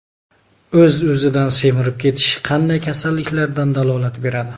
O‘z-o‘zidan semirib ketish qanday kasalliklardan dalolat beradi?.